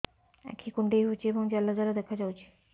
ଆଖି କୁଣ୍ଡେଇ ହେଉଛି ଏବଂ ଜାଲ ଜାଲ ଦେଖାଯାଉଛି